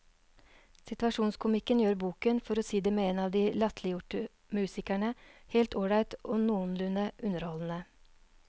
Situasjonskomikken gjør boken, for å si det med en av de latterliggjorte musikerne, helt ålreit og noenlunde underholdende.